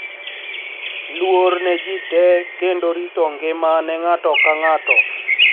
Luor ne ji te kendo rito ngima ne ng'ato ka ng'ato.